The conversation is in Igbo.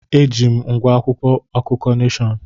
Eji m ngwá akwụkwọ akụkọ Neshọn.